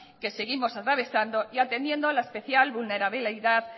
que seguimos atravesando y atendiendo la especial vulnerabilidad